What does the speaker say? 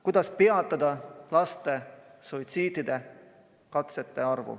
Kuidas peatada laste suitsiidikatseid?